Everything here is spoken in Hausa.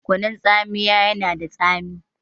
Kunun tsamiya yana da tsami